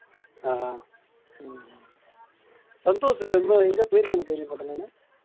அஹ் உம் சந்தோஷ் என்ன எங்கேயோ போயிருக்கான்னு கேள்விப்பட்டேன் நானு